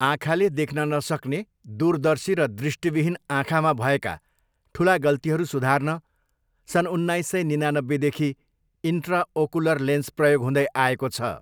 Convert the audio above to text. आँखाले देख्न नसक्ने, दूरदर्शी र दृष्टिविहीन आँखामा भएका ठुला गल्तीहरू सुधार्न सन् उन्नाइस सय निनानब्बेदेखि इन्ट्राओकुलर लेन्स प्रयोग हुँदै आएको छ।